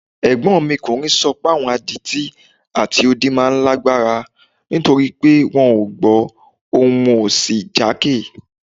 Ẹ̀gbọ́nkùnrin mi sọ páwọn adití àti odi máa ń lágbára nítorí pé wọn ò gbọ́ ohùn wọn ò sì jákè